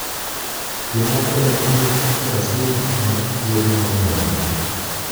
Jomoko e Piniy Brazil Omak gi yedhe mamero